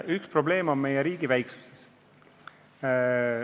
Üks probleeme on meie riigi väiksus.